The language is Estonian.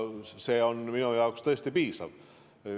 See on minu jaoks tõesti piisav.